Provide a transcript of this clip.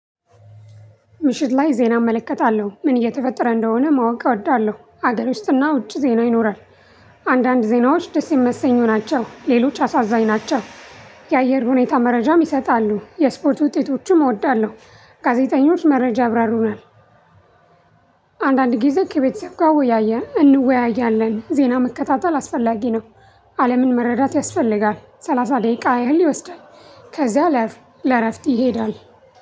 ምሽት ላይ ዜና እመለከታለሁ ምን እየተፈጠረ እንደሆነ ማወቅ እወዳለሁ ሀገር ውስጥና ውጭ ዜና ይኖራል። አንዳንድ ዜናዎች ደስ የሚመሰኙ ናቸው። ሌሎች አሳዛኝ ናቸው። የአየር ሁኔታ መረጃም ይሰጣሉ የስፖርት ውጤቶቹም እወዳለሁ። ጋዜጠኞች መረጃ አብራሩናል። አንዳንድ ጊዜ ከቤተሰብ ጋር እንወያያለን ዜና መከታተል አስፈላጊ ነው። አለምን መረዳት ያስፈልጋል ሰላሳ ደቂቃ ያህል ይወስዳል። ከዛ ለረፍት ይሄዳል።